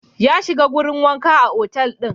Ya shiga wurin wanka a otal ɗin.